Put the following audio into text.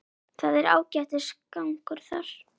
Það er ágætis gangur þar.